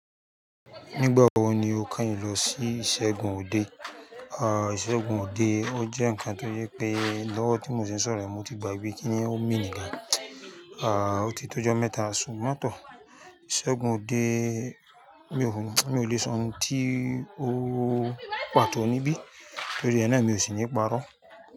Nígbà wo ni o keyin lọ sí ìṣẹ́gun òde? À, ìṣẹ́gun òde ó jẹ́ nǹkan tó yẹ pé lọ́wọ́ tí mò ń sọ̀rọ̀ ẹ̀, mo ti gbàgbé kíni ó mi níga. À, ó ti tó ọjọ́ mẹ́ta sunmọ́ tọ́. Ìṣẹ́gun òde, mi ò lè sọun tí ó pàtó níbí, torí ẹ náà mi ò sì ní parọ́